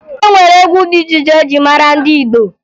E nwere egwu dị iche iche eji mara ndị Igbo